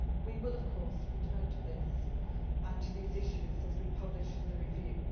We will of course return to this and to these issues as we publish the review.